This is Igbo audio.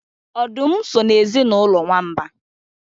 Ọdụm so n'ezinụlọ nwamba